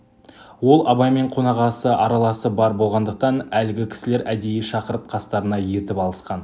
ол абаймен қонағасы араласы бар болғандықтан әлгі кісілер әдейі шақырып қастарына ертіп алысқан